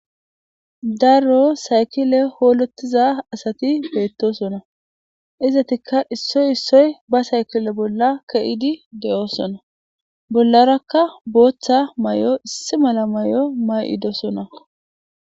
daro saykile hoolettiza asati beettosona izatikka issoy issoy ba saykile bolla ka7idi de7oosona bollarakka booththa may7o issi mala may7o may7idosona